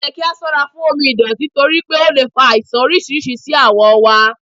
Oyẹ ki a sọra fun omi ìdọ̀tí toripe o le fa aisan oriṣiriṣi si awọ wa